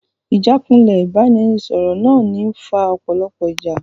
Ìjákulẹ̀ ìbánisọ̀rọ̀ máa ń fa ọ̀pọ̀lọpọ̀ ìjà.